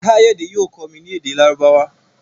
Kayode yóò kọ mí ní èdè Lárúbáwá.